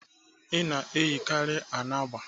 Ị na-eyikarị anagba?